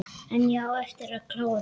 En ég á eftir að klára.